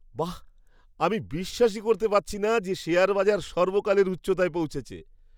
বাঃ, আমি বিশ্বাসই করতে পারছি না যে শেয়ার বাজার সর্বকালের উচ্চতায় পৌঁছেছে!